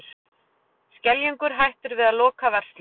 Skeljungur hættir við að loka verslun